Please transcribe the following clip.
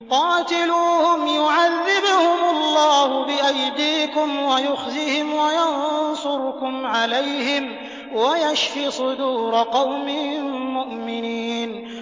قَاتِلُوهُمْ يُعَذِّبْهُمُ اللَّهُ بِأَيْدِيكُمْ وَيُخْزِهِمْ وَيَنصُرْكُمْ عَلَيْهِمْ وَيَشْفِ صُدُورَ قَوْمٍ مُّؤْمِنِينَ